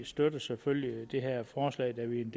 støtter selvfølgelig det her forslag da vi